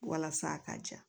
Walasa a ka ja